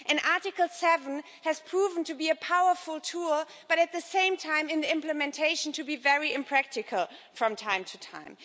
Article 7 has proven to be a powerful tool but at the same time, in implementation, to be very impractical from time to time.